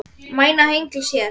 Mæna hengils hér.